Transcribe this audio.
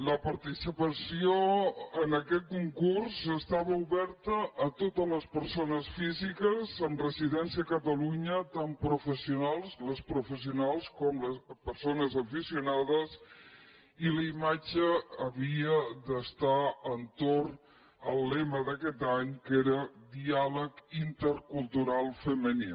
la participació en aquest concurs estava oberta a totes les persones físiques amb residència a catalunya tant professionals les professionals com persones aficionades i la imatge havia d’estar entorn del lema d’aquest any que era diàleg intercultural femení